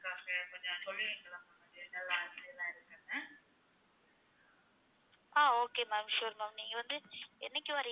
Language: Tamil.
ஆஹ் okay ma'amsure ma'am நீங்க வந்து என்னைக்கு வர்றீங்க?